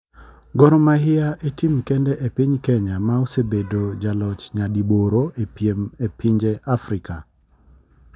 Gor mahia e tim kende e piny Kenya ma osebedo ja loch nya di boro e piem e pinje Afrika